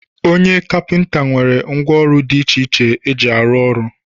Onye kapinta nwere ngwọ ọrụ di iche iche o ji arụ ọrụ